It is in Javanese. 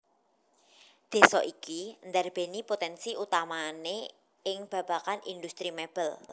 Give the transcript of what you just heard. Désa iki ndarbèni potènsi utamané ing babagan indhustri mèbel